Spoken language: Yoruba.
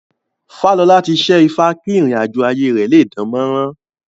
Fálọlá ti ṣẹ́ ifá kí ìrìn àjọ̀ ayé rẹ̀ lé dánmọ́rán